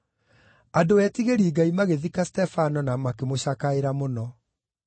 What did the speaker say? Andũ etigĩri Ngai magĩthika Stefano na makĩmũcakaĩra mũno.